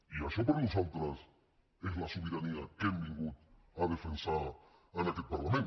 i això per nosaltres és la sobirania que hem vingut a defensar en aquest parlament